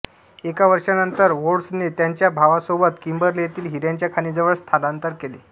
एका वर्षानंतर ऱ्होड्सने त्याच्या भावासोबत किंबर्ले येथील हिऱ्यांच्या खाणींजवळ स्थानांतर केले